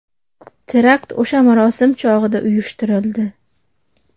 Terakt o‘sha marosim chog‘ida uyushtirildi.